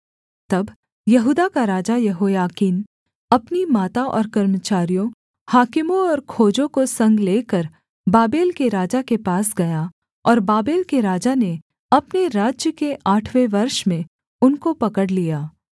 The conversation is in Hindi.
तब यहूदा का राजा यहोयाकीन अपनी माता और कर्मचारियों हाकिमों और खोजों को संग लेकर बाबेल के राजा के पास गया और बाबेल के राजा ने अपने राज्य के आठवें वर्ष में उनको पकड़ लिया